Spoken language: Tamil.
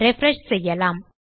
ரிஃப்ரெஷ் செய்யலாம்